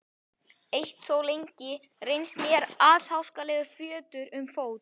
Eitt hefur þó lengi reynst mér allháskalegur fjötur um fót.